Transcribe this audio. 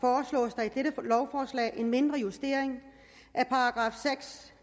på lovforslag en mindre justering